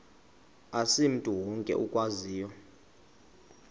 asimntu wonke okwaziyo